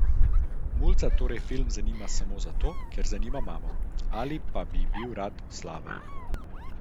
Mulca torej film zanima samo zato, ker zanima mamo, ali pa bi bil rad slaven.